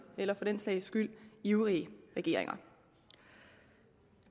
eller for den sags skyld ivrige regeringer